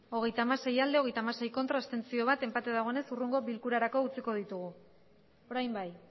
hogeita hamasei bai hogeita hamasei ez bat abstentzio enpate dagoenez hurrengo bilkurarako utziko ditugu orain bai